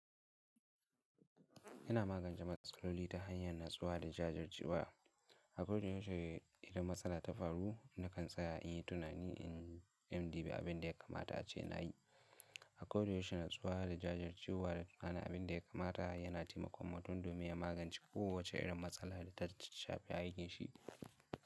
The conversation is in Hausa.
Yana magance matsala loli ta hanyar natsuwa da jajircewa. A koda yaushe idan matsala ta faru, nakan tsaya in yi tunani in MD bi abin da ya kamata a ce na yi. A koda yaushe natsuwa da jajircewa da tuna abin da ya kamata yana taimakon mutun domin ya magance kowace irin matsala da ta shafi aikin shi.